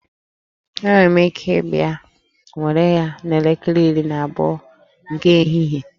Enwere m ike ịbịa were ya n'elekere iri na abụọ nke ehihie